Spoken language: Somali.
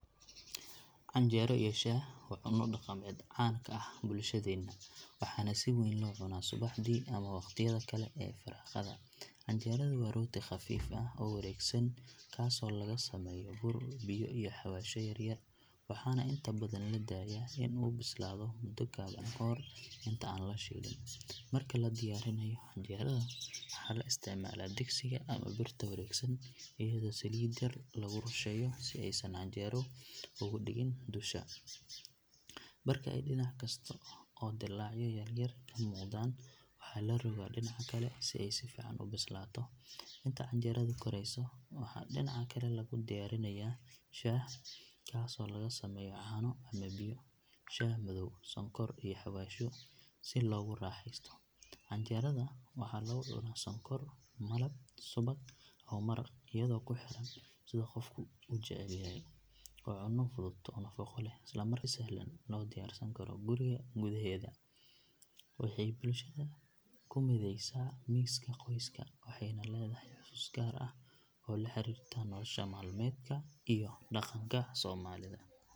Canjeero iyo shaah waa cunno dhaqameed caan ka ah bulshadeena waxaana si weyn loo cunaa subaxdii ama waqtiyada kale ee firaaqada. Canjeeradu waa rooti khafiif ah oo wareegsan kaasoo laga sameeyo bur, biyo iyo xawaashyo yar yar waxaana inta badan la daayaa in uu bislaado muddo gaaban ka hor inta aan la shiilin. Marka la diyaarinayo canjeerada waxaa la isticmaalaa digsiga ama birta wareegsan iyadoo saliid yar lagu rusheeyo si aysan canjeeradu ugu dhegin dusha. Marka ay dhinac karsato oo dillaacyo yaryar ka muuqdaan waxaa la rogaa dhinaca kale si ay si fiican u bislaato. Inta canjeeradu karayso waxaa dhinaca kale lagu diyaarinayaa shaah kaasoo laga sameeyo caano ama biyo, shaah madow, sonkor iyo xawaashyo sida hayl iyo qorfe. Shaahu waa in uu karkaraa si uu dhadhankiisu u soo baxo kadibna waxaa lagu miiraa koobab si loogu raaxaysto. Canjeerada waxaa lagu cunaa sonkor, malab, subag ama maraq iyadoo ku xiran sida qofku u jecel yahay. Waa cunno fudud oo nafaqo leh isla markaana si sahlan loo diyaarsan karo guriga gudaheeda. Waxay bulshada ku mideysaa miiska qoyska waxayna leedahay xusuus gaar ah oo la xiriirta nolosha maalmeedka iyo dhaqanka Soomaalida.